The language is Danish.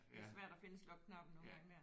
Det er svært at finde slukknappen nogle gange der